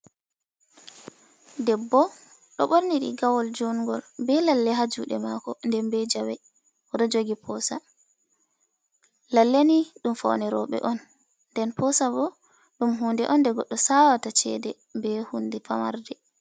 Eebbo ɗo borni rigawol jungol be lalle ha juɗe mako, nden be jawe, oɗo jogi posa, lalle ni dum faune roɓe on, nden posa bo ɗum hunde on nde goɗɗo sawata chede be hunde pamarde.